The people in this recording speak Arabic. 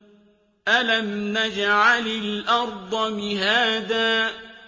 أَلَمْ نَجْعَلِ الْأَرْضَ مِهَادًا